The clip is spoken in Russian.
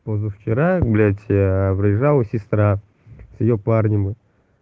позавчера блять приезжала сестра с её парнем